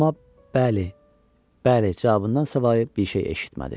Amma bəli, bəli cavabındansa başqa bir şey eşitmədi.